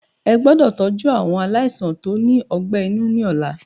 Ẹ gbọ́dọ̀ tọ́jú àwọn aláìsàn tó ní ọgbẹ́ inú ni ọ̀la.